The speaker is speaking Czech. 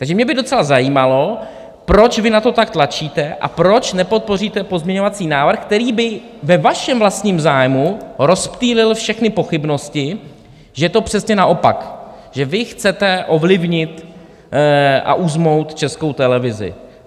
Takže mě by docela zajímalo, proč vy na to tak tlačíte a proč nepodpoříte pozměňovací návrh, který by ve vašem vlastním zájmu rozptýlil všechny pochybnosti, že je to přesně naopak, že vy chcete ovlivnit a uzmout Českou televizi.